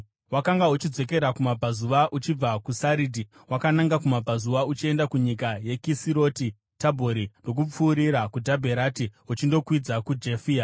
Wakanga uchidzokera kumabvazuva uchibva kuSaridhi wakananga kumabvazuva uchienda kunyika yeKisiroti Tabhori ndokupfuurira kuDhabherati uchindokwidza kuJafia.